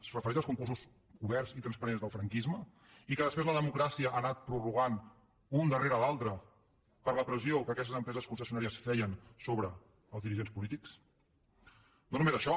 es refereix als concursos oberts i transparents del franquisme i que després la democràcia ha anat prorrogant un darrere l’altre per la pressió que aquestes empreses concessionàries feien sobre els dirigents polítics no només això